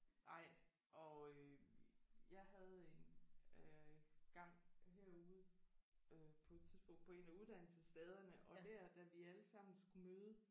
Nej og øh jeg havde en øh gang herude øh på et tidspunkt på en af uddannelsesstederne og der da vi alle sammen skulle møde